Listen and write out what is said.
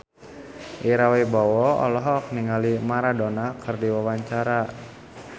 Ira Wibowo olohok ningali Maradona keur diwawancara